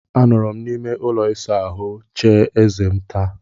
Anọrọ m n'ime ụlọ ịsa ahụ chie eze m taa.